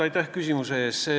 Aitäh küsimuse eest!